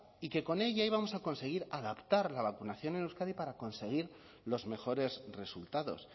y que con ella íbamos a conseguir adaptar la vacunación en euskadi para conseguir los mejores resultados